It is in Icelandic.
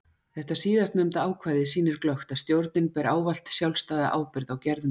Þetta síðast nefnda ákvæði sýnir glöggt að stjórnin ber ávallt sjálfstæða ábyrgð á gerðum sínum.